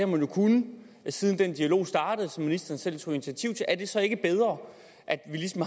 man jo kunnet siden den dialog startede som ministeren selv tog initiativ til er det så ikke bedre at at vi ligesom